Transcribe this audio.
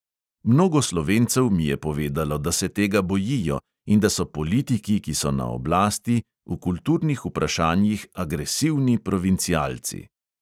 Mnogo slovencev mi je povedalo, da se tega bojijo in da so politiki, ki so na oblasti, v kulturnih vprašanjih agresivni provincialci.